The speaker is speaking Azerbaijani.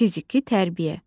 Fiziki tərbiyə.